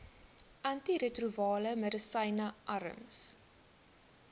antiretrovirale medisyne arms